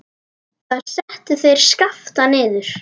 Þar settu þeir Skapta niður.